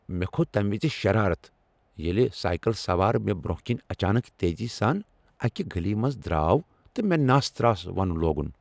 مےٚ کھوت تمِہ وز شرارت ییلِہ سائیکل سوار مےٚ برونٛہہ کِنۍ اچانکھ تیزی سان اکِہ گلی منز درٛاو تہٕ مےٚ ناس تراس ونُن لوگُن ۔